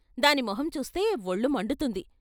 దాని మొహం చూస్తే వొళ్ళు మండుతుంది.